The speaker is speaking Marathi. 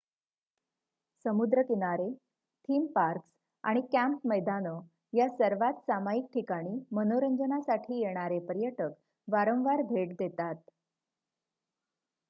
समुद्र किनारे थीम पार्क्स आणि कँप मैदानं या सर्वात सामायिक ठिकाणी मनोरंजनासाठी येणारे पर्यटक वारंवार भेट देतात